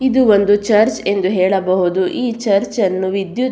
ಇದು ಒಂದು ಚರ್ಚ್ ಎಂದು ಹೇಳಬಹುದು ಈ ಚರ್ಚ್ ಅನ್ನು ವಿದ್ಯುತ್ --